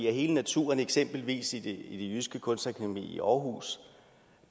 hele naturen i eksempelvis det jyske kunstakademi i aarhus